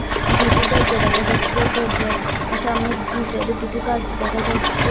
দুটো দরজা দেখা যাচ্ছে দরজার সামনে দুই সাইডে দুটো গাছ দেখা যাচ্ছে।